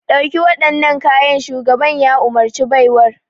Ɗauki waɗannan kayan! shugaban ya umarci baiwar.